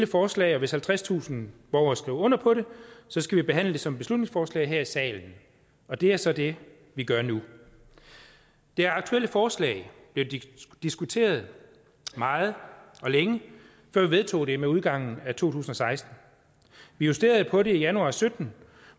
forslag og hvis halvtredstusind borgere skriver under på det skal vi behandle det som et beslutningsforslag her i salen og det er så det vi gør nu det aktuelle forslag blev diskuteret meget og længe før vi vedtog det ved udgangen af to tusind og seksten vi justerede på det i januar og sytten